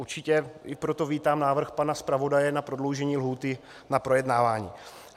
Určitě i proto vítám návrh pana zpravodaje na prodloužení lhůty k projednávání.